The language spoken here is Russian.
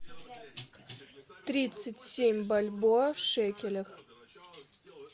тридцать семь бальбоа в шекелях